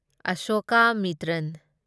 Ashokamitran